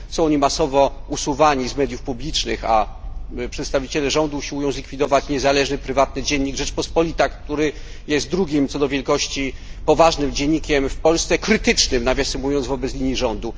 Są oni masowo usuwani z mediów publicznych, a przedstawiciele rządu usiłują zlikwidować niezależny, prywatny dziennik Rzeczpospolita, który jest drugim co do wielkości poważnym dziennikiem w Polsce, krytycznym, nawisem mówiąc, wobec linii rządu.